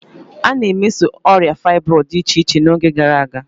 A na-emeso ọrịa fybroidu dị iche-iche n'oge gara aga.